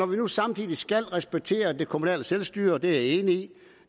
vi nu samtidig skal respektere det kommunale selvstyre det er jeg enig